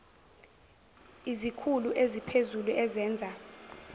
izikhulu eziphezulu ezenza